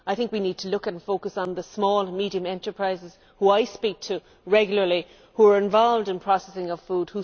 I think we need to look at and focus on the small and medium enterprises, who I speak to regularly, who are involved in processing of food.